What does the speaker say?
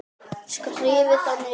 Skrifið þá niður.